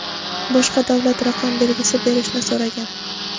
boshqa davlat raqam belgisi berishni so‘ragan.